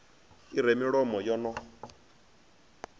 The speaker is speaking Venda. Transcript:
i re milomo yo no